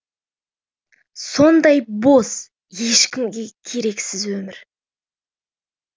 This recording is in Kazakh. сондай бос ешкімге керексіз өмір